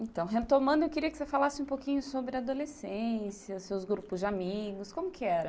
Então, retomando, eu queria que você falasse um pouquinho sobre a adolescência, seus grupos de amigos, como que era?